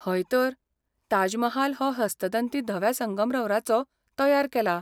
हयतर. ताज महाल हो हस्तदंती धव्या संगमरवराचो तयार केला.